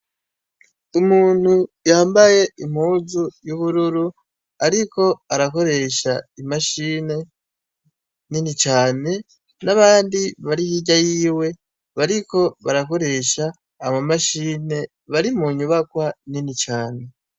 Umuntu yambaye impuzu y'ubururu ariko arakoresha imashini nini cane n'abandi bari hirya yiwe bariko barakoresha ama mashini bari munyubakwa nini cane .